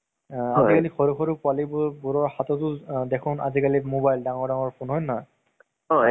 তʼ ধুনীয়া কৈ তুমি তোমাৰ family ৰ লগত বহি গলা। তʼ সেই আমুজ টো, সেই আমেজ টো মানে কিবা ভাল লাগে। হয় নে নহয় কোৱা চোন?